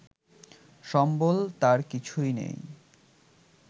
সম্বল তাঁর কিছুই নেই